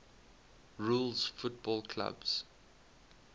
rules football clubs